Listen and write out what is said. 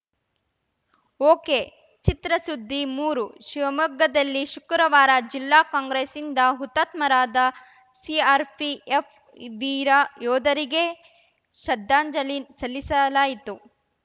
ಒಕೆಚಿತ್ರಸುದ್ದಿ ಮೂರು ಶಿವಮೊಗ್ಗದಲ್ಲಿ ಶುಕ್ರವಾರ ಜಿಲ್ಲಾ ಕಾಂಗ್ರೆಸ್‌ಯಿಂದ ಹುತಾತ್ಮರಾದ ಸಿಆರ್‌ಪಿಎಫ್‌ ವೀರ ಯೋಧರಿಗೆ ಶ್ರದ್ದಾಂಜಲಿ ಸಲ್ಲಿಸಲಾಯಿತು